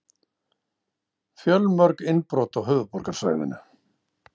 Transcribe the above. Fjölmörg innbrot á höfuðborgarsvæðinu